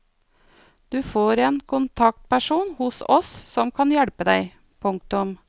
Du får en kontaktperson hos oss som kan hjelpe deg. punktum